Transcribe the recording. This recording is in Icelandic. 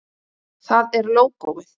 Það er lógóið.